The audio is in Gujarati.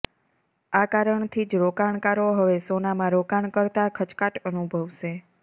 આ કારણથી જ રોકાણકારો હવે સોનામાં રોકાણ કરતાં ખચકાટ અનુભવશે